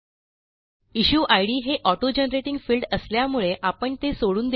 issue ID हे auto generating field असल्यामुळे आपण ते सोडून देऊ